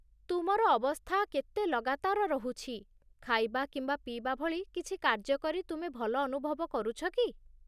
ତୁମର ଅବସ୍ଥା କେତେ ଲଗାତାର ରହୁଛି, ଖାଇବା କିମ୍ବା ପିଇବା ଭଳି କିଛି କାର୍ଯ୍ୟ କରି ତୁମେ ଭଲ ଅନୁଭବ କରୁଛ କି?